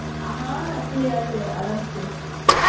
আ হ্যাঁ খেয়ে যাবে আরামসে